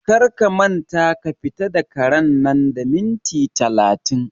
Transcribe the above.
Kar ka manta ka fita da karen nan da minti talatin!